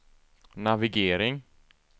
navigering